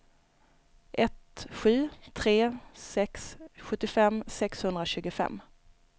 ett sju tre sex sjuttiofem sexhundratjugofem